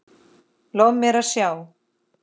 Lof mér sjá